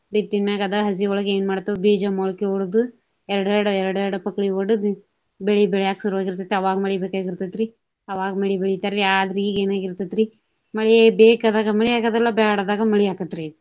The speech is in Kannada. ಬಿತ್ತಿದ ಮ್ಯಾಗ ಅದ ಹಸಿಯೊಳಗ ಏನ ಮಾಡ್ತಾವ ಬೀಜ ಮೊಳಕೆ ವಡಿದು ಎರಡೆರಡು ಎರಡೆರಡು ಪಕಳಿ ವಡಿದು ಬೆಳಿ ಬೆಳ್ಯಾಕ ಶುರುವಾಗಿರ್ತೆತಿ ಅವಾಗ ಮಳಿ ಬೇಕಾಗಿರ್ತೆತ್ರಿ. ಅವಾಗ ಬೆಳಿ ಬೆಳಿತಾರಿ. ಆದ್ರ ಈಗ ಏನ ಆಗಿರ್ತೆತ್ರಿ ಮಳಿ ಬೇಕಾದಾಗ ಮಳಿ ಆಗುದಿಲ್ಲಾ ಬ್ಯಾಡ ಆದಾಗ ಮಳಿ ಆಕ್ಕೇತ್ರಿ.